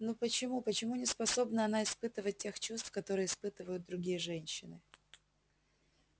ну почему почему не способна она испытывать тех чувств которые испытывают другие женщины